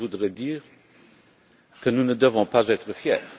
Mais je voudrais dire que nous ne devons pas être fiers.